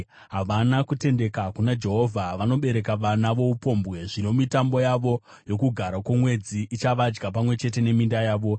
Havana kutendeka kuna Jehovha; vanobereka vana voupombwe. Zvino mitambo yavo yoKugara kwoMwedzi ichavadya pamwe chete neminda yavo.